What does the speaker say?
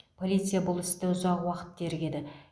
полиция бұл істі ұзақ уақыт тергеді